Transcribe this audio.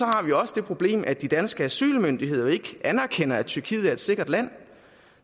har vi også det problem at de danske asylmyndigheder ikke anerkender at tyrkiet er et sikkert land